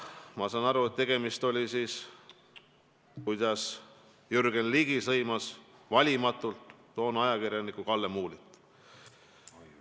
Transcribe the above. " Ma saan aru, et seda öeldi siis, kui Jürgen Ligi sõimas valimatult toonast ajakirjanikku Kalle Muulit.